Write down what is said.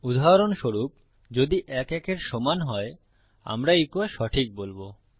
উদাহরণস্বরূপ যদি ১ ১ এর সমান হয় আমরা ইকো সঠিক বলবো